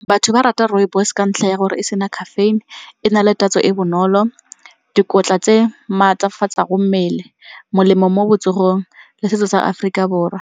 Batho ba rata rooibos ka ntlha ya gore e sena caffeine, e na le tatso e bonolo, dikotla tse maatlafatsa go mmele, molemo mo botsogong le setso sa Aforika Borwa.